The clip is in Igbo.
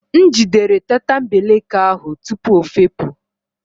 M jidere tatambeleke ahụ tupu ọ fepu